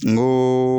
N ko